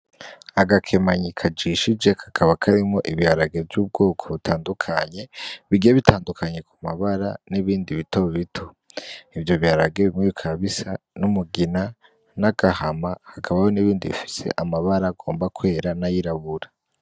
Agakemanyi kajishije kakaba karimwo ibiharage vy'ubwoko butandukanye bigiye bitandukanye ku mabara nibindi bitobito ivyo biharage bimwe bikaba bisa n'umugina n'agahama hakabaho nibindi bifise amabara agomba kwera nayirabura.